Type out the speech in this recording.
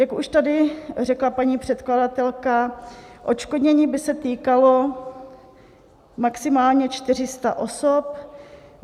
Jak už tady řekla paní předkladatelka, odškodnění by se týkalo maximálně 400 osob.